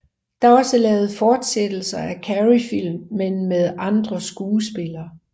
Der er også lavet fortsættelser af Carreyfilm men med andre skuespillere